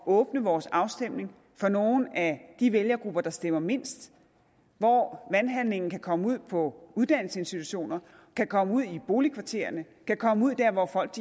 åbne vores afstemning for nogle af de vælgergrupper der stemmer mindst og hvor valghandlingen kan komme ud på uddannelsesinstitutioner kan komme ud i boligkvarterer kan komme ud der hvor folk